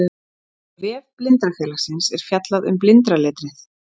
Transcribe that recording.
á vef blindrafélagsins er fjallað um blindraletrið